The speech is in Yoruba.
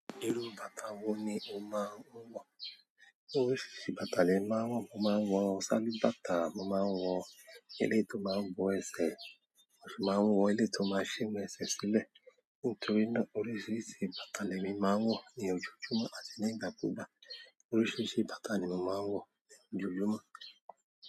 Irú bàtà wo ni o máa ń wọ̀? Oríṣiríṣi bàtà ni màá ń wọ̀, mo máa ń wọ sálúbàtà, mo máa ń wọ eleyii tó máa ń bo ẹsẹ̀, mo sì máa ń wọ eleyii tó máa sí ẹsẹ̀ sílẹ̀. Nítorí náà oríṣiríṣi bàtà lèmi máa ń wọ̀ ní ojoojúmọ́ àti ni ígbàkúgbà. Oríṣiríṣi bàtà ni mo máa ń wọ̀ ní ojoojúmọ́.